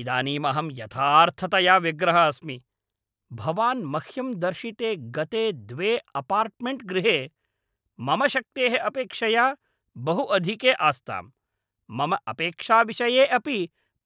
इदानीं अहम् यथार्थतया व्यग्रः अस्मि, भवान् मह्यं दर्शिते गते द्वे अपार्ट्मेण्ट्गृहे मम शक्तेः अपेक्षया बहु अधिके आस्ताम्, मम अपेक्षाविषये अपि